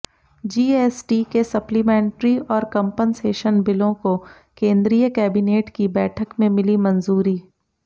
GST के supplementary और compensation बिलों को केंद्रीय कैबिनेट की बैठक में मिली मंजूरी